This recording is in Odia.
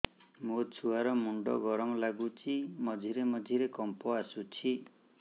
ମୋ ଛୁଆ ର ମୁଣ୍ଡ ଗରମ ଲାଗୁଚି ମଝିରେ ମଝିରେ କମ୍ପ ଆସୁଛି